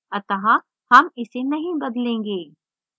अतः हम इसे नहीं बदलेंगे